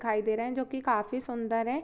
दिखाई दे रहे है जो की काफी सूंदर है।